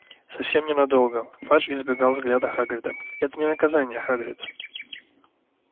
совсем ненадолго фадж избегал взгляда хагрида это не наказание хагрид